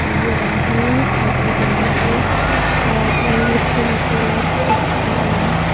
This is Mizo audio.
bul velah hainin thingpui lumna te ahh chuanin lukhum te light switch te a lang a.